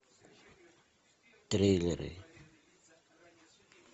триллеры